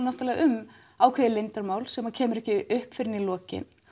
náttúrulega um ákveðið leyndarmál sem kemur ekki upp fyrr en í lokin